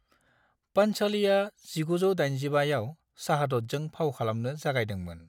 पांच'लीआ1985 आव शहादतजों फाव खालामनो जागायदोंमोन।